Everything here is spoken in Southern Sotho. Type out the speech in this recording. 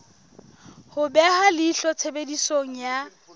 ho beha leihlo tshebediso ya